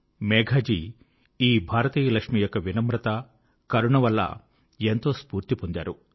మేఘాజీ ఈ భారతీయ లక్ష్మి యొక్క వినమ్రత కరుణ వల్ల ఎంతో స్ఫూర్తి పొందారు